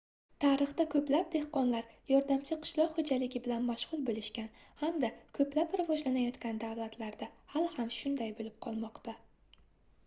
tarixda koʻplab dehqonlar yordamchi qishloq xoʻjaligi bilan mashgʻul boʻlishgan hamda koʻplab rivojlanayotgan davlatlarda hali ham shunday boʻlib qolmoqda